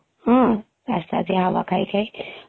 ହଁ ରାସ୍ତା ଦି ହାୱା ଖାଇ ଖାଇ ପବନ ଖାଇ ଖାଇ